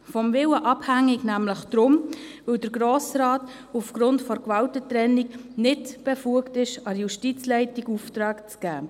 Von ihrem Willen abhängig wäre es deshalb, weil der Grosse Rat aufgrund der Gewaltentrennung nicht befugt ist, Aufträge an die Justizleitung zu erteilen.